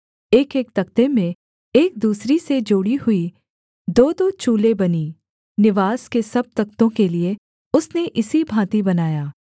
एकएक तख्ते में एक दूसरी से जोड़ी हुई दोदो चूलें बनीं निवास के सब तख्तों के लिये उसने इसी भाँति बनाया